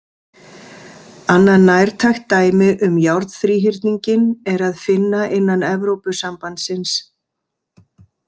Annað nærtækt dæmi um járnþríhyrninginn er að finna innan Evrópusambandsins.